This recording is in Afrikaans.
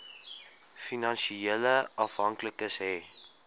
finansiële afhanklikes hê